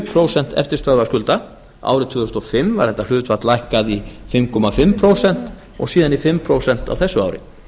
prósent eftirstöðva skulda árið tvö þúsund og fimm var þetta hlutfall lækkað í fimm og hálft prósent og síðan í fimm prósent á þessu ári